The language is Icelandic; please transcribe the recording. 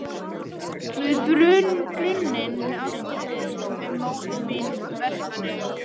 Við brunninn með Ástríði sem er móðir mín úr Vestmannaeyjum.